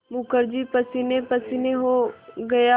मुखर्जी पसीनेपसीने हो गया